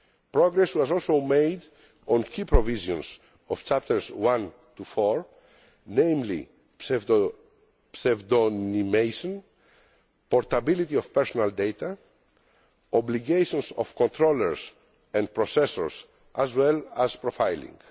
Progress was also made on key provisions of Chapters 1 to 4, namely pseudonymisation, portability of personal data, obligations of controllers and processors, and profiling.